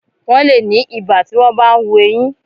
Wọ́n le ni ibà tí wọ́n bá ń hu eyín.